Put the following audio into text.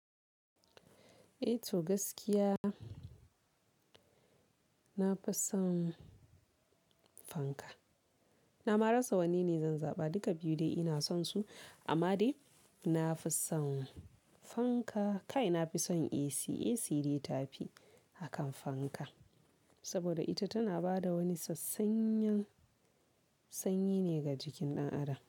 Eh to gaskiya na fi son fanka. Nama rasa wanne ne zan zaɓa, duka biyu dai ina son su amma dai na fi son fanka. Kai na fi son AC, AC dai ta fi akan fanka saboda ita tana bada wani sassanyan sanyi ne ga jikin ɗan adam.